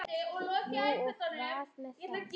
Jú, og hvað með það?